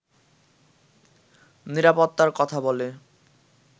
নিরাপত্তার কথা বলে